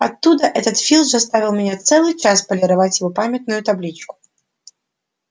оттуда что филч заставил меня целый час полировать его памятную табличку